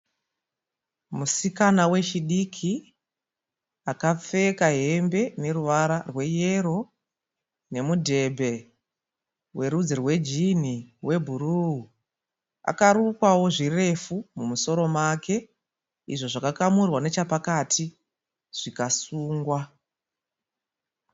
Musikana wechidiki akapfeka hembe ine ruvara rweyero nemudhebhe werudzi rwejinhi webhuru. Akarukwawo zvirefu mumusoro make izvo zvakakamurwa nechapakati zvikasungwa.